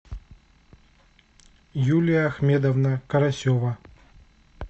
юлия ахмедовна карасева